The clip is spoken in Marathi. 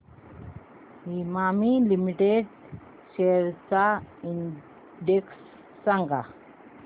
इमामी लिमिटेड शेअर्स चा इंडेक्स सांगा